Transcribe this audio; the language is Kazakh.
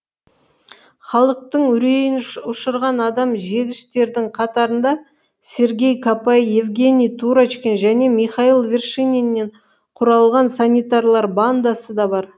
халықтың үрейін ұшырған адам жегіштердің қатарында сергей копай евгений турочкин және михаил вершининнен құралған санитарлар бандасы да бар